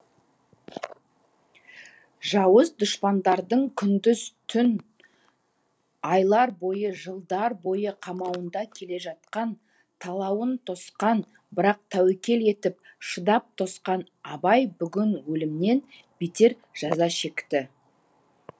жауыз дұшпандардың күндіз түн айлар бойы жылдар бойы қамауында келе жатқан талауын тосқан бірақ тәуекел етіп шыдап тосқан абай бүгін өлімнен бетер жаза шекті